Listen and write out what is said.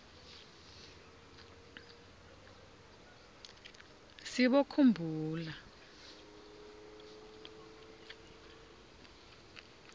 sibokhumbula